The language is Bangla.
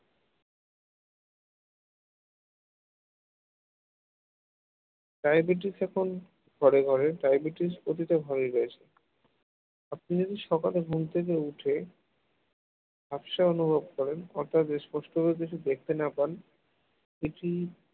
diabetes এখন ঘরে ঘরে diabetes প্রতিটা ঘরেই রয়েছে আপনি সকালে ঘুম থেকে উঠে ঝাপসা অনুভব করেন অর্থাৎ স্পষ্ট ভাবে কিছু দেখতে না পান এটি